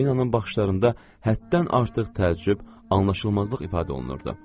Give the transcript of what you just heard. Parinanın baxışlarında həddən artıq təəccüb, anlaşılmazlıq ifadə olunurdu.